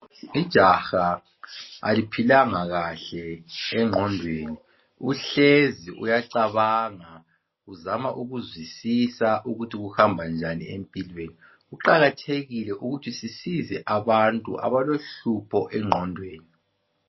Ijaha aliphilanga kahle engqondweni. Uhlezi uyacabanga uzama ukuzwisisa ukuthi kuhamba njani empilweni. Kuqakathekile ukuthi sisize abantu abalohlupho engqondweni.